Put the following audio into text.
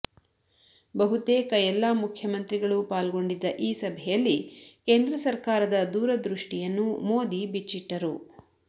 ಬಹುತೇಕ ಎಲ್ಲ ಮುಖ್ಯಮಂತ್ರಿಗಳು ಪಾಲ್ಗೊಂಡಿದ್ದ ಈ ಸಭೆಯಲ್ಲಿ ಕೇಂದ್ರ ಸರ್ಕಾರದ ದೂರದೃಷ್ಟಿಯನ್ನು ಮೋದಿ ಬಿಚ್ಚಿಟ್ಟರು